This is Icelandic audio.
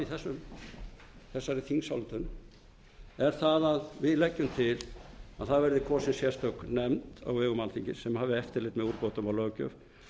í þessari þingsályktun er að við leggjum til að kosin verði sérstök nefnd á vegum alþingis sem hafi eftirlit með úrbótum á löggjöf